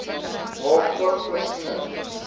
maak ook voorsiening